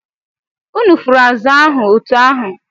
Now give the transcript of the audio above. Unu fụrụ azụ̀ ahụ otú ahụ!